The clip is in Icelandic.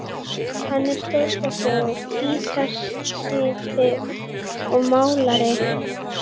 Hann er stórkostlegur gítaristi og málari.